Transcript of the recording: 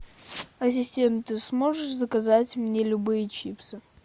ассистент ты сможешь заказать мне любые чипсы